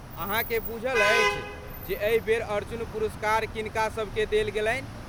अहाँके बुझल अछि जे एहि बेर अर्जुन पुरस्कार किनकासबकेँ देल गेलनि?